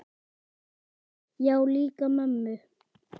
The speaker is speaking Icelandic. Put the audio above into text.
Já, líka mömmu